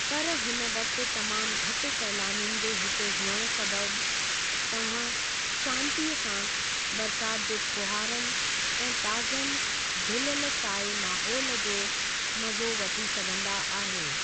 पर हिन वक़्ति तमामु घटि सैलानियुनि जे हिते हुअणु सबबि, तव्हां शांन्तीअ सां बरसाति जे फूहारनि ऐं ताज़नि धुलियलु साए माहोलु जो मज़ो वठी सघंदा आहियो।